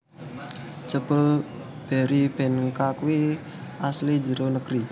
Jebul Berrybenka kui asli njero negeri